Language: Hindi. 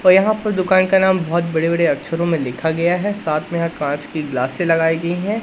और यहां पर दुकान का नाम बहुत बड़े बड़े अक्षरों में लिखा गया हैं साथ में यहां कांच की ग्लासें लगाई गई हैं।